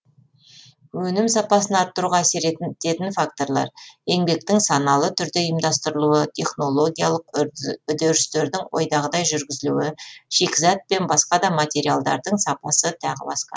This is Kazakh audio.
өнім сапасын арттыруға әсер етін факторлар еңбектің саналы түрде ұйымдастырылуы технологиялық үдерістердің ойдағыдай жүргізілуі шикізат пен басқа да материалдардың сапасы тағы басқа